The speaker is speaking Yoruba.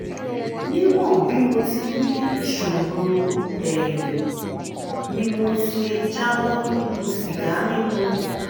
níwọ̀n bí mo ti rí ìṣòro ẹ̀yin mi mo ti jáwọ́ nínú sìgá mímu